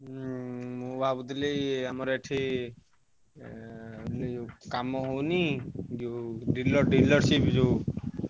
ହୁଁ ମୁଁ ଭାବୁଥିଲି କି ଆମର ଏଠି ଉଁ କାମ ହଉନି ଯୋଉ dealer, dealership ଯୋଉ।